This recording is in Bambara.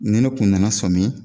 Ni ne kun nana sɔmin